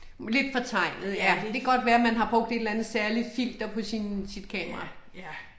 Lidt fortegnet ja, det kan godt være man har brugt et eller andet særligt filter på sin sit kamera